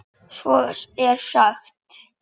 Svo er sagt.